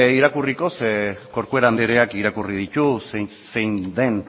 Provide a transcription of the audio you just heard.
irakurriko ze corcuera andreak irakurri ditu zein den